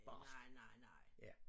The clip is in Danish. Barskt ja